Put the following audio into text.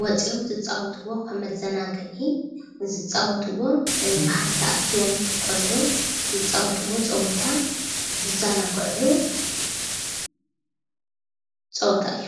ወፅም ዝፃወትዎ ከም መዘናጊዒ ዝፃወትዎ ብሓደ ተኣኪቦም ቆልዑ ዝፃወትዎ ፀወታ ዝዘናግዕሉ ፀወታ እዩ።